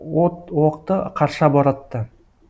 от оқты қарша боратты